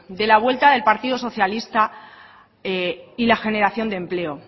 de la vuelta del partido socialista y la generación de empleo